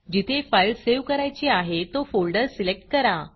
जिथे file save करायची आहे तो फोल्डर सिलेक्ट करा